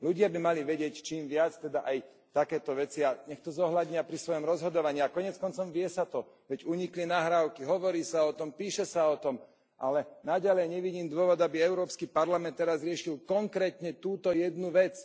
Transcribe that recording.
Ľudia by mali vedieť čím viac, teda aj takéto veci, a nech to zohľadnia pri svojom rozhodovaní. A koniec koncov deje sa to, veď unikli nahrávky, hovorí sa o tom, píše sa o tom, ale naďalej nevidím dôvod, aby Európsky parlament teraz riešil konkrétne túto jednu vec.